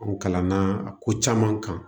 An kalanna a ko caman kan